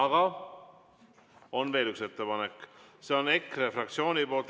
Aga on veel üks ettepanek, see on EKRE fraktsioonilt.